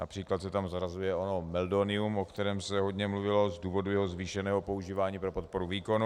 Například se tam zařazuje ono meldonium, o kterém se hodně mluvilo, z důvodu jeho zvýšeného používání pro podporu výkonu.